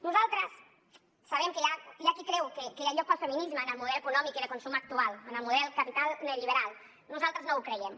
nosaltres sabem que hi ha qui creu que hi ha lloc per al feminisme en el model econòmic i de consum actual en el model capital neoliberal nosaltres no ho creiem